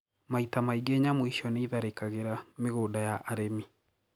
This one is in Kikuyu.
Maita maingi nyamũ icio niitharikagira migunda ya arimi